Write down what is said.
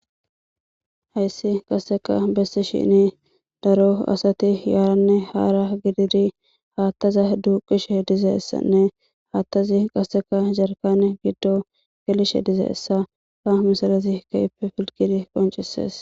Hayssi qasseka bessi shini daro asati yaaranne haara gididi haattaza duuqishe dizeessanne haattazi qasseka jarkane giddo gelishe dizeessa ha misalazi kaippe filgidi qoncisees